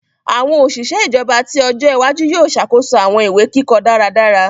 Awọn oṣiṣẹ ijọba ti ọjọ iwaju yoo ṣakoso awọn iwe-kikọ daradara.